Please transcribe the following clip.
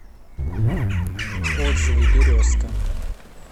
отзывы березка